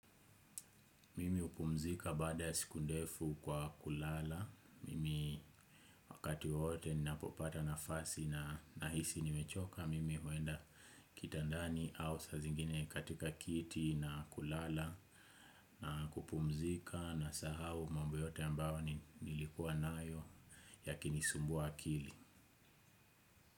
Mimi hupumzika baada ya sikundefu kwa kulala. Mimi wakati wote ni napopata na fasi na nahisi ni mechoka. Mimi huenda kitandani au saa zingine katika kiti na kulala na kupumzika na sahau mambo yote ambayo ni likuwa nayo yakinisumbua akili.